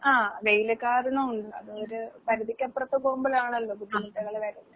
ആഹ് വെയില് കാരണോം ഒണ്ട്. അതൊര് പരുധിക്കപ്പുറത്ത് പോവുമ്പഴാണല്ലോ ബുദ്ധിമുട്ടുകള് വരുന്നെ.